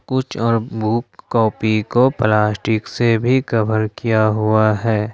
कुछ और book copy को प्लास्टिक से भी कवर किया हुआ है।